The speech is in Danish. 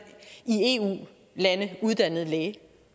i eu lande uddannet læge